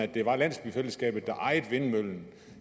det var landsbyfællesskabet der ejede vindmøllen